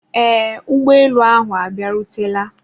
eee, ụgbọelu ahụ abịarutela